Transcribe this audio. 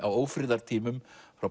á ófriðartímum frá